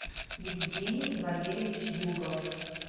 евгений валерьевич югов